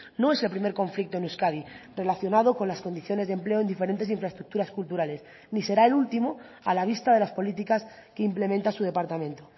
no es el primer conflicto en euskadi relacionado con las condiciones de empleo en diferentes infraestructuras culturales ni será el último a la vista de las políticas que implementa su departamento